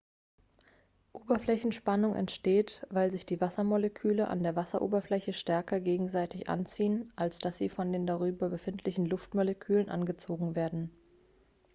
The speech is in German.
oberflächenspannung entsteht weil sich die wassermoleküle an der wasseroberfläche stärker gegenseitig anziehen als dass sie von den darüber befindlichen luftmolekülen angezogen werden